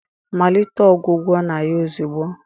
malite ọgwụgwọ na ya ozugbo!